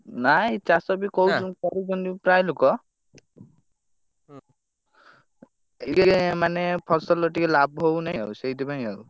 ନାଇ ଚାଷବି କହୁଛନ୍ତି କରୁଛନ୍ତି ପ୍ରାୟ ଲୋକ, ଇଏ ଏ ମାନେ, ଫସଲ ଟିକେ ଲାଭ ହଉନାହି, ଆଉ ସେଇଥିପାଇଁ ଆଉ।